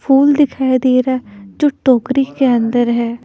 फूल दिखाई दे रहा है जो टोकरी के अंदर है।